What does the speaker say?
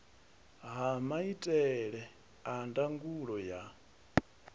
ha maitele a ndangulo ya